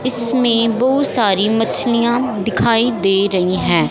इसमें बहुत सारी मछलियां दिखाई दे रही हैं।